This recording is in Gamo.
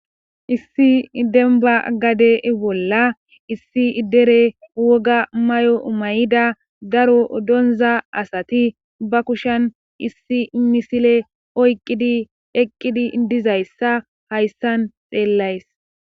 issi demba gade bolla issi idere woga may7o mayida daro donza asati ba kushen issi misile oyqqidi eqqidi dizayssa hayssan xeellays